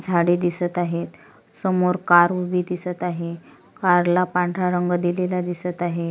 झाडे दिसत आहेत समोर कार उभी दिसत आहे कारला पांढरा रंग दिलेला दिसत आहे.